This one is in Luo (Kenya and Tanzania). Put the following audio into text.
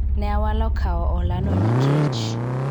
ne awalo kawo hola no nikech